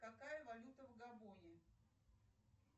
какая валюта в габоне